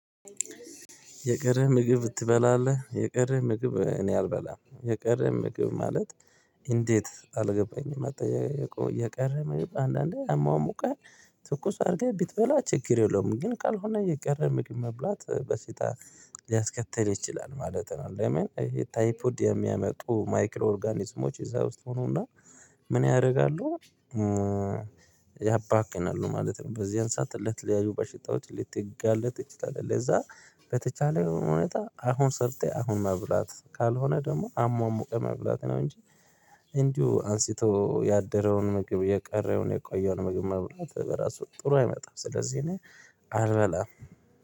የቀረ ምግብ ትበላለህ የቀረ ምግብ እኔ አልበላም የቀረ ምግብ ማለት? እንዴት አልገባኝም አጠያየቁ የቀረ ነው። አንዳንዴ አሟሙቀን ትኩስ አድርገህ ቢትበላ ችግር የለውም። ግን ካልሆነ የቀረ ምግብ መብላት በሽታ ሊያስከትል ይችላል ማለት ነው። ለምን ይሄ ታይፖድ የሚያመጡ ማይክሮ ኦርጋኒዝሞች እዛ ውስጥ ይሆኑና ምን ያደርጋሉ? ያባክናሉ ማለት ነው በዚህን ሰዓት ለተለያዩ በሽታዎች ልትጋለጥ ትችላለህ። ለዛ በተቻለ ሁኔታ አሁን ሰርተህ አሁን መብላት ካልሆነ ደግሞ አሟሙቀ መብላት ነው። እንጂ እንዲሁ አንስቶ ያደረውን ምግብ የቀረውን የቆየውን ምግብ መብላት በራሱ ጥሩ አይመጣም። ስለዚህ እኔ አልበላም